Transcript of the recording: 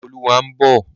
Ìkẹ́olúwa ń bọ̀.